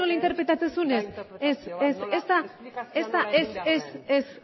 interpretatzen dudan hori ere ez zuk nola interpretatzen duzun ez ez da interpretazio bat esplikazioa nola egin behar den ez ez